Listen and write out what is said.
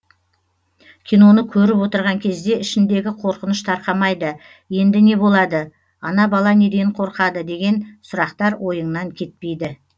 киноны көріп отырған кезде ішіңдегі қорқыныш тарқамайды енді не болады ана бала неден қорқады деген сұрақтар ойыңнан кетпейді